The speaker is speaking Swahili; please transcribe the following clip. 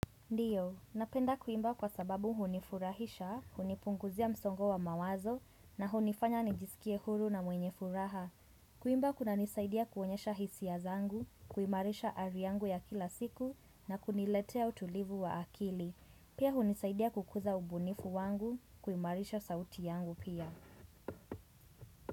Ndio, napenda kuimba kwa sababu hunifurahisha, hunipunguzia msongo wa mawazo na hunifanya nijisikie huru na mwenye furaha. Kuimba kunanisaidia kuonyesha hisia zangu, kuimarisha hali yangu ya kila siku na kuniletea utulivu wa akili. Pia hunisaidia kukuza ubunifu wangu, kuimarisha sauti yangu pia.